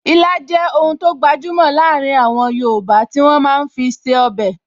Ilá jẹ́ oun tó gbajúmọ̀ láàrin àwọn yoòbá tí wọ́n máa fi ń ṣe ọbẹ̀